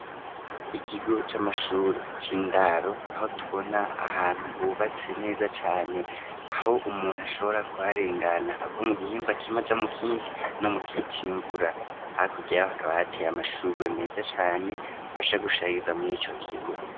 ikigo c'amashure c'indaro aho tubona ahantu hubatse neza cane, aho umuntu ashobora kuharengana ava mu gihimba kimwe aja mu kindi no mu gihe c'imvura. Hakurya yaho hakaba hateye amashurwe meza cane afasha gushariza muri ico kigo.